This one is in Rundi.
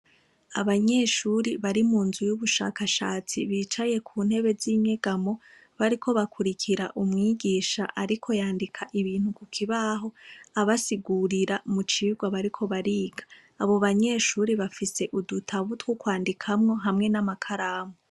Abanyeshuri bari mu nzu y'ubushakashatsi bicaye ku ntebe z'inyegamo bariko bakurikira umwigisha, ariko yandika ibintu kukibaho abasigurira mu cirwa bariko bariga abo banyeshuri bafise udutabutwo kwandikamwo hamwe n'amakaramu.